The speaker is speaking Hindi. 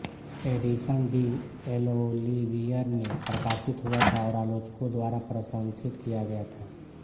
एडिशन डी एलओलिवर में प्रकाशित हुआ था और आलोचकों द्वारा प्रशंसित किया गया था